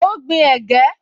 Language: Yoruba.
Ó gbin ẹ̀gẹ́